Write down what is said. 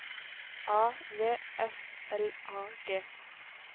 A V S L A G